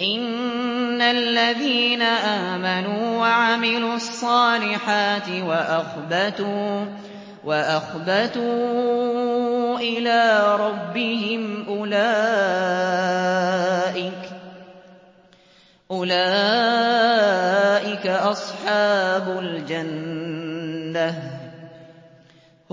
إِنَّ الَّذِينَ آمَنُوا وَعَمِلُوا الصَّالِحَاتِ وَأَخْبَتُوا إِلَىٰ رَبِّهِمْ أُولَٰئِكَ أَصْحَابُ الْجَنَّةِ ۖ